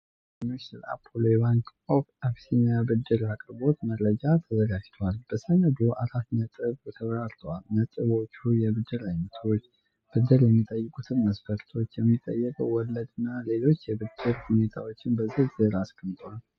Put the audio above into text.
ለደንበኞች ስለ አፖሎ የባንክ ኦፍ አቢሲኒያ ብድር አቅርቦት መረጃ ተዘጋጅቷል። በሰነዱ አራት ነጥቦች ተብራርተዋል። ነጥቦቹ የብድር ዓይነቶችን፣ ብድር የሚጠይቁትን መሥፈርቶች፣ የሚጠየቀውን ወለድና ሌሎች የብድሩን ሁኔታዎች በዝርዝር አስቀምጧል።